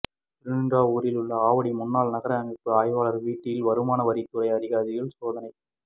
திருநின்றவூரில் உள்ள ஆவடி முன்னாள் நகரமைப்பு ஆய்வாளர் வீட்டில் வருமான வரித்துறை அதிகாரிகள் சோதனை